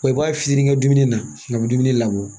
Wa i b'a fiyɛ ni ka dumuni na ka bɛ dumuni labɔ